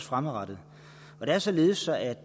fremadrettet det er således at